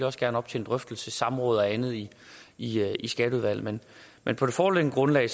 også gerne op til en drøftelse i samråd og andet i i skatteudvalget men på det foreliggende grundlag